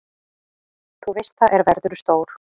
Þú veist það, er verðurðu stór.